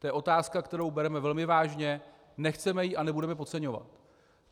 To je otázka, kterou bereme velmi vážně, nechceme ji a nebudeme podceňovat.